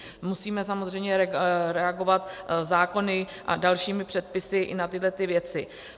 Musíme samozřejmě reagovat zákony a dalšími předpisy i na tyhlety věci.